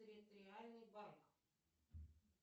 территориальный банк